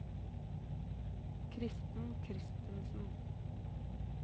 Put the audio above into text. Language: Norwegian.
Kristen Christensen